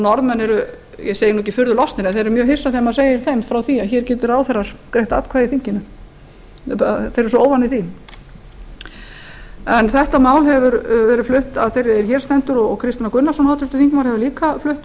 norðmenn eru ég segi nú ekki furðu lostnir en þeir eru mjög hissa þegar maður segir þeim frá því að hér geti ráðherrar greitt atkvæði í þinginu þeir eru svo óvanir því þetta mál hefur verið flutt af þeirri sem hér stendur og háttvirtur þingmaður kristinn h gunnarsson hefur líka flutt